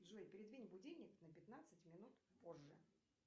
джой передвинь будильник на пятнадцать минут позже